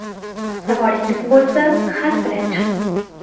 Savolingiz bo‘lsa, xat bilan chiqing.